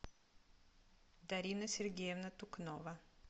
дарина сергеевна тукнова